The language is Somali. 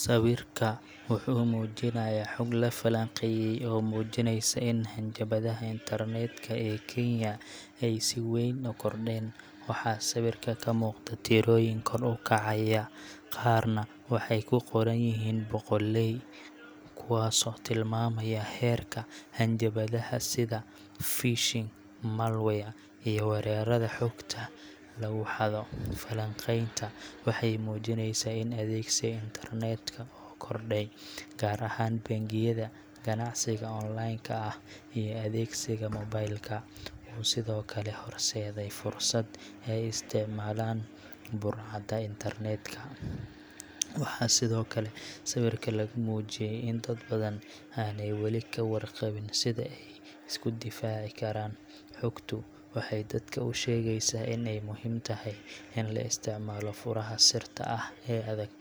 Sawirka wuxuu muujinayaa xog la falanqeeyay oo muujinaysa in hanjabaadaha internet-ka ee Kenya ay si weyn u kordheen. Waxaa sawirka ka muuqda tirooyin kor u kacaya, qaarna waxay ku qoran yihiin boqolley kuwaasoo tilmaamaya heerka hanjabaadaha sida phishing, malware, iyo weerarada xogta lagu xado. Falanqaynta waxay muujineysaa in adeegsiga internet-ka oo kordhay, gaar ahaan bangiyada, ganacsiga online ka, iyo adeegsiga mobile ka, uu sidoo kale horseeday fursad ay isticmaalaan burcadda internet-ka. Waxaa sidoo kale sawirka lagu muujiyey in dad badan aanay wali ka warqabin sida ay isku difaaci karaan. Xogtu waxay dadka u sheegaysaa in ay muhiim tahay in la isticmaalo furaha sirta ah ee adag,